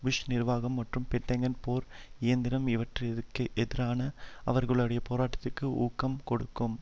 push நிர்வாம் மற்றும் Pentagon போர் இயந்திரம் இவற்றிற்கெதிரான அவர்களுடைய போராட்டத்திற்கும் ஊக்கம் கொடுக்கும்